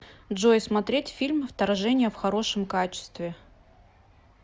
джой смотреть фильм вторжение в хорошем качестве